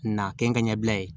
Na kɛ n ka ɲɛbila ye